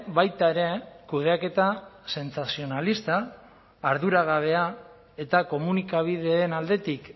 baita ere kudeaketa sentsazionalista arduragabea eta komunikabideen aldetik